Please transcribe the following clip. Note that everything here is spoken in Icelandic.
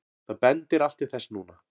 Það bendir allt til þess núna.